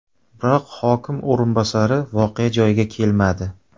Biroq hokim o‘rinbosari voqea joyiga kelmadi.